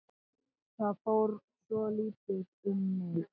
Það fór nú svolítið um mig.